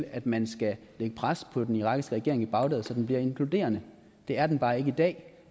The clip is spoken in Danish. at man skal lægge pres på den irakiske regering i bagdad så den bliver inkluderende det er den bare ikke i dag